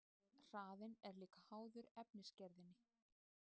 Hraðinn er líka háður efnisgerðinni.